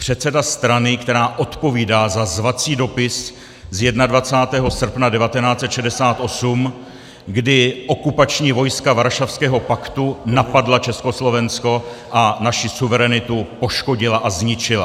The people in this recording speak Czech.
Předseda strany, která odpovídá za zvací dopis z 21. srpna 1968, kdy okupační vojska Varšavského paktu napadla Československo a naši suverenitu poškodila a zničila.